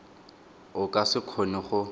o ka se kgone go